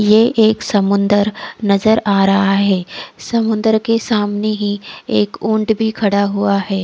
ये एक समुंदर नजर आ रहा है समुंदर के सामने ही एक ऊंट भी खड़ा हुआ है।